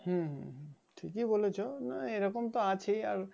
হম ঠিকই বলেছেন না এরকম তো আছেই আর